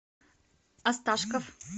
осташков